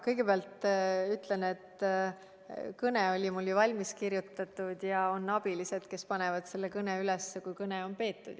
Kõigepealt ütlen, et kõne oli mul ju valmis kirjutatud ja on abilised, kes panid selle kõne üles, kui see oli peetud.